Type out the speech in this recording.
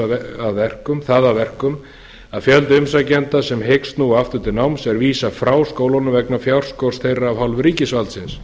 og hefur það að verkum að fjölda umsækjenda sem hyggst snúa aftur til náms er vísað frá skólunum vegna fjárskorts þeirra af hálfu ríkisvaldsins